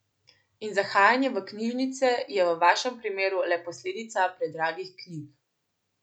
In zahajanje v knjižnice je v vašem primeru le posledica predragih knjig.